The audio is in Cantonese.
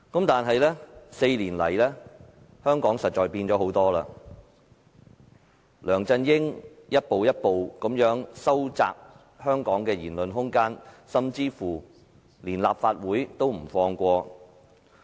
但是，這4年來，香港實在變了太多，梁振英一步一步收窄香港的言論空間，就連立法會也不放過。